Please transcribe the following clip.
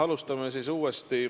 Alustame siis uuesti.